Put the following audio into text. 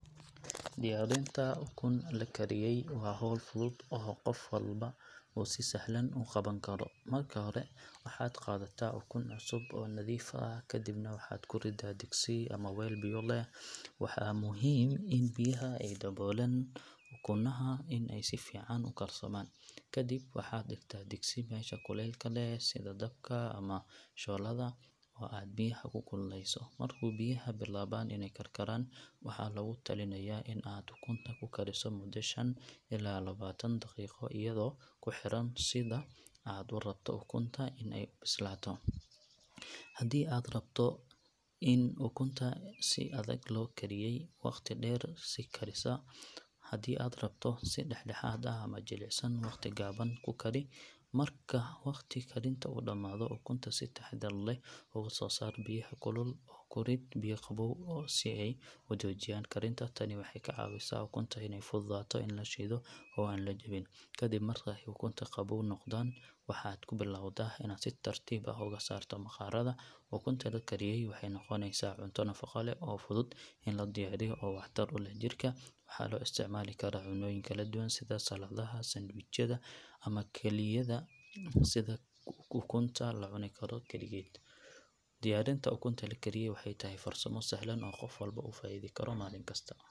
Diyaarinta ukun la kariyay waa hawl fudud oo qof walba uu si sahlan u qaban karo. Marka hore, waxaad qaadataa ukun cusub oo nadiif ah kadibna waxaad ku riddaa digsi ama weel biyo leh. Waa muhiim in biyaha ay daboolaan ukunaha si ay si fiican u karsamaan. Kadib, waxaad dhigtaa digsi meesha kulaylka leh, sida dabka ama shooladda, oo aad biyaha ku kululeyso. Marka biyuhu bilaabaan inay karkaraan, waxaa lagu talinayaa in aad ukunta ku kariso muddo shan ilaa toban daqiiqo iyadoo ku xiran sida aad u rabto ukunta in ay u bislaato. Haddii aad rabto ukunta si adag loo kariyay, waqti dheer sii karisaa, haddii aad rabto si dhexdhexaad ah ama jilicsan, waqti gaaban ku kari. Marka waqtiga karinta uu dhamaado, ukunta si taxaddar leh uga soo saar biyaha kulul oo ku ridi biyo qabow si ay u joojiyaan karinta. Tani waxay ka caawisaa ukunta inay fududaato in la shido oo aan la jabin. Kadib marka ay ukunta qabow noqdaan, waxaad ku bilowdaa inaad si tartiib ah uga saarto maqaarada. Ukunta la kariyay waxay noqonaysaa cunto nafaqo leh oo fudud in la diyaariyo oo waxtar u leh jirka. Waxaa loo isticmaali karaa cunnooyin kala duwan sida saladaha, sandwichyada ama kaliya sida ukunta la cuni karo kaligeed. Diyaarinta ukunta la kariyay waxay tahay farsamo sahlan oo qof walba uu ka faa’iidi karo maalin kasta.